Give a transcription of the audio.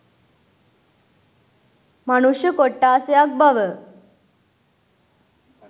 මනුෂ්‍ය කොට්ඨාසයක් බව